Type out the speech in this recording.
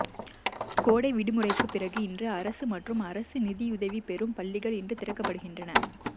கோடை விடுமுறைக்கு பிறகு இன்று அரசு மற்றும் அரசு நிதியுதவி பெறும் பள்ளிகள் இன்று திறக்கப்படுகின்றன